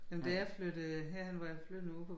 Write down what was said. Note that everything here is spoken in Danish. Men da jeg flyttede herhen hvor jeg flyttede ude på